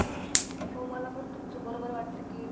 हो, मला पण तुमचं बरोबर वाटतं की,